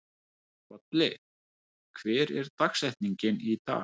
Bolli, hver er dagsetningin í dag?